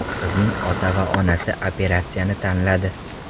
Qizning ota va onasi operatsiyani tanladi.